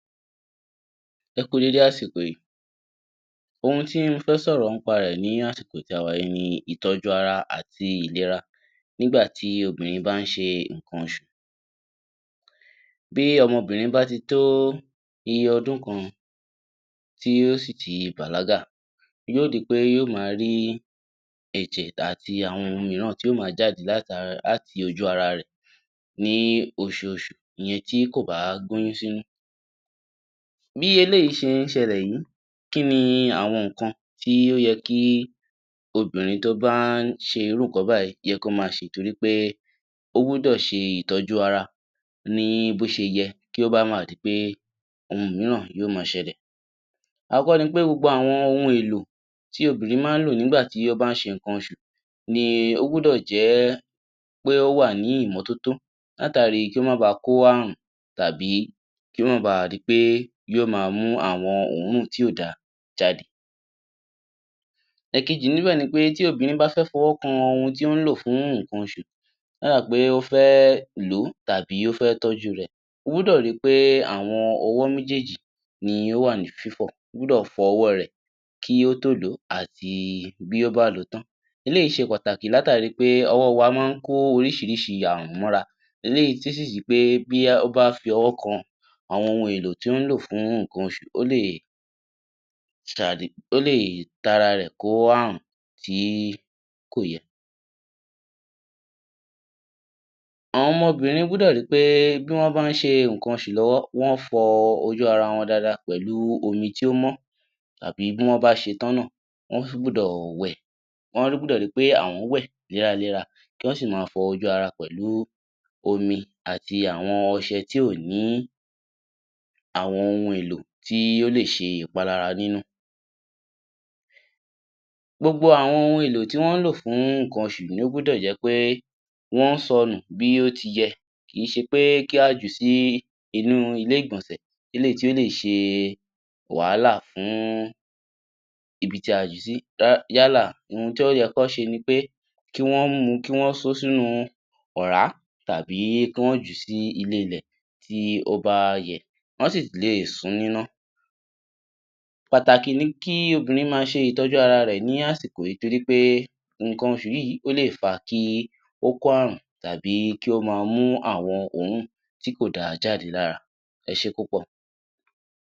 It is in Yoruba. Ẹ kú déédé àsìkò yìí. Ohun tí mo fẹ́ sọ̀rọ̀ nípa rẹ̀ ní àsìkò tí a wà yí ni ìtọ́jú ara àti ìlera nígbà tí obìnrin bá ń ṣe nǹkan oṣù. Bí ọmọ obìnrin bá ti tó iye ọdún kan, tí ó sì tí bàlágà. Yóò di pé yóò máa rí ẹ̀jẹ̀ àti ohun mìíràn tí yóò máa jáde láti ara, láti ojú ara rẹ̀ ní oṣooṣù ìyẹn tí kò bá gbé oyún sínú. Bí eléyìí ṣe ń ṣẹ̀lẹ̀ yìí, kí ni àwọn nǹkan tí ó yẹ kí obìnrin tí ó ń bá ṣe irú nǹkan báyìí yẹ kó máa ṣe é torí pé ó gbọ́dọ̀ ṣe ìtọ́jú ara ní bó ṣeyẹ kí ò bà má di pé ohun mìíràn yóò máa ṣẹ̀lẹ̀. Àkọ́kọ́ ni pé gbogbo àwọn ohun èlò tí obìnrin máa ń lò nígbà tí ó bá ń ṣe nǹkan oṣù ní ó gbọ́dọ̀ jẹ́ pé ó wà ní ìmọ́tótó látàrí kí ó bà máa kó àrùn tàbí kí ò bá máa di pé e yóò máa mú àwọn òórùn tí kòda jáde. Ẹ̀kejì níbẹ̀ ni pé, tí obìnrin bá fẹ́ fọwọ́ kan ohun tí ó ń lò fún nǹkan oṣù. Yálà pé ó fẹ́ lò tàbí ó fẹ́ tọ́jú rẹ̀, ó gbọ́dọ̀ rí pé àwọn ọwọ́ méjèèjì ní ó wà ní fífọ̀. O gbọ́dọ̀ fọ ọwọ́ rẹ̀ kí ó tó lò ó àti bí ó bá lòó tán. Eléyìí ṣe pàtàkì látàrí pé ọwọ́ wa máa ń kó oríṣiríṣi àrùn móra. Eléyìí um pé bóyá bí ó bá fi ọwọ́ kàn àwọn ohun èlò tí ó lò fún nǹkan oṣù ó lè, um, ó lè tara rẹ̀ kó àrùn tí kò yẹ. Àwọn ọmọ obìnrin gbọ́dọ̀ rí pé bí wọn bá ń ṣe nǹkan oṣù lọ́wọ́ wọ́n fọ ojú ara wọn dáadáa pẹ̀lú omi tí ó mó tàbí bí wọ́n bá ṣe tán náà, wọ́n gbọdọ̀ wẹ̀. Wọ́n gbọ́dọ̀ rí pé àwọn wẹ̀ lára lára kí wọ́n sì máa fọ ojú ara pẹ̀lú omi àti àwọn ọṣẹ tí ò ní àwọn ohun èlò tí ó lè ṣe ìpalára nínú. Gbogbo àwọn èlò tí wọ́n lò fún nǹkan oṣù ní o gbọ́dọ̀ jẹ́ pé wọ́n sọ̀nù bí ó tiyẹ. Kì í ṣe pé kí á jù sí inú ilé-ìgbọ̀nsẹ̀ eléyìí tí ó lè ṣe wàhálà fún ibi tí a jù sí. Yálà ohun tí ó yẹ kí wọn ṣe ni pé, kí wọn mú u, kí wọn so sínú ọ̀rá tàbí kí wọn jù ú sí ilé-ilẹ̀ tí ó bá yẹ. Wọ́n sì lè sún ún níná. Pàtàkì ní kí obìnrin máa ṣe ìtọ́jú ara rẹ̀ ní àsìkò yìí torí pé nǹkan oṣù yìí ó lè fa kí ó kó àrùn tàbí kí ó máa mú àwọn òórùn tí kò da jáde lára. Ẹ ṣé púpọ̀.